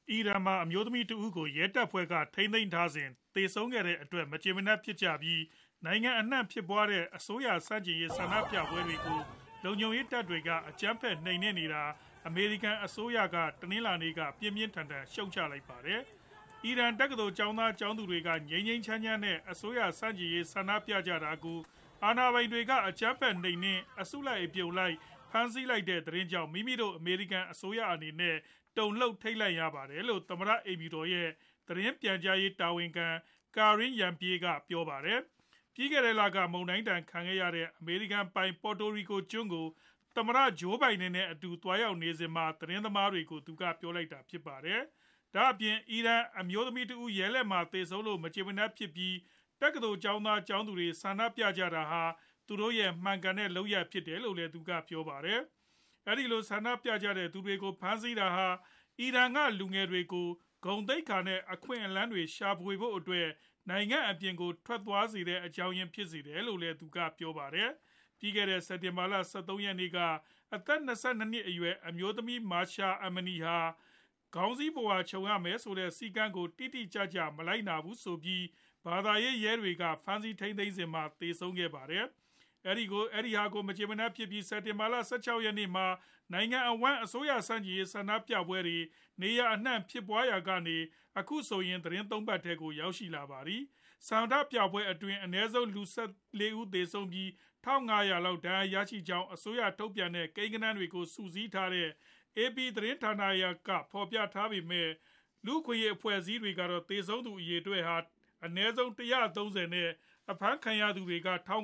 အီရန်မှာ အမျိုးသမီးတဦး ကို ရဲတွေက ဖမ်းဆီးထိန်းသိမ်းထားစဉ် သေဆုံးခဲ့ရတဲ့အတွက် မကျေမနပ်ဖြစ်ပြီး နိုင်ငံအနှံ့ ဖြစ်ပွားနေတဲ့ အစိုးရ ဆန့်ကျင်ရေး ဆန္ဒပြပွဲတွေကို လုံခြုံရေးတပ်ဖွဲ့တွေက အကြမ်းဖက် နှိမ်နင်းနေတာကို အမေရိကန် အစိုးရက တနင်္လာနေ့က ပြင်းပြင်းထန်ထန် ဝေဖန် ရှုတ်ချလိုက်ပါတယ်။ အီရန် တက္ကသိုလ်ကျောင်းသား၊ ကျောင်းသူတွေ က ငြိမ်းငြိမ်းချမ်းချမ်း နဲ့ အစိုးရဆန့်ကျင်ရေး ဆန္ဒပြနေကြတာကို အာဏာပိုင်တွေက အကြမ်းဖက် နှိမ်နင်း အစုလိုက် အပြုံလိုက် ဖမ်းဆီး လိုက်တဲ့ သတင်းကြောင့် မိမိတို့ အမေရိကန် အစိုးရအနေနဲ့ တုံလှုပ် ထိတ်လန့်ရပါတယ်လို့ သမ္မတ အိမ်ဖြူတော် ရဲ့ သတင်းပြန်ကြားရေး တာဝန်ခံ Karine Jean-Pierre က ပြောပါတယ်။ ပြီးခဲ့တဲ့လက မုန်တိုင်းဒဏ် ခံခဲ့ရတဲ့ အမေရိကန်ပိုင် Puerto Rico ကျွန်းကို သမ္မတ Joe Biden နဲ့အတူ သွားရောက်နေစဉ်မှာ သတင်းသမားတွေကို သူက ပြောလိုက်တာဖြစ်ပါတယ်။ ဒါအပြင် အီရန် အမျိုးသမီးတဦး ရဲလက်မှာ သေဆုံးလို့ မကျေမနပ်ဖြစ်ပြီး တက္ကသိုလ်ကျောင်းသား ၊ ကျောင်းသူတွေ က ဆန္ဒပြကြတာဟာ သူတို့ရဲ့ မှန်ကန်တဲ့လုပ်ရပ်ဖြစ်တယ်လို့လည်း သူက ပြောပါတယ်။ အဲဒီလို ဆန္ဒပြကြတဲ့သူတွေကို ဖမ်းဆီးတာဟာ အီရန်က လူငယ်တွေကို ဂုဏ်သိက္ခာ နဲ့ အခွင့်အလမ်းတွေ ရှာဖွေဖို့အတွက် နိုင်ငံအပြင်ကို ထွက်ခွာသွားစေတဲ့ အကြောင်းအရင်း ဖြစ်စေတယ်လို့လည်း သူက ပြောပါတယ်။ ပြီးခဲ့တဲ့ စက်တင်ဘာလ ၁၃ ရက်နေ့က အသက် ၂၂ နှစ်အရွယ် အမျိုးသမီး Mahsa Amini ဟာ ခေါင်းစည်းပုဝါခြုံရမယ့် စည်းကမ်းကို တိတိကျကျ မလိုက်နာဘူးဆိုပြီး ဘာသာရေး ရဲတွေက ဖမ်းဆီးထိန်းသိမ်းခဲ့စဉ်မှာ သေဆုံးခဲ့ပါတယ်။ အဲဒါကို မကြေမနပ်ဖြစ်ကြပြီး စက်တင်ဘာ ၁၆ ရက်နေ့မှာ နိုင်ငံအဝှမ်း အစိုးရဆန့်ကျင်ရေး ဆန္ဒပြပွဲတွေ နေရာအနှံဖြစ်ပွားခဲ့ရာကနေ အခုဆိုရင် သီတင်း ၃ ပတ်ထဲကို ရောက်ရှိလာပါတယ်။ ဆန္ဒပြပွဲတွေအတွင်း အနည်းဆုံး လူ ၁၄ ဦးသေဆုံးပြီး ၁ ၅ဝဝ လောက် ဒဏ်ရာရရှိကြကြောင်း အစိုးရက ထုတ်ပြန်တဲ့ ကိန်းဂဏန်းတွေကို စုစည်းထားတဲ့ AP သတင်းဌာနက ဖော်ပြခဲ့ပေမဲ့ လူ့အခွင့်အရေးအဖွဲ့အစည်းတွေကတော့ သေဆုံးသူက အနည်းဆုံး ၁၃ဝ နဲ့ အဖမ်းခံရသူတွေက ထောင်